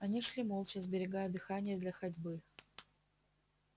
они шли молча сберегая дыхание для ходьбы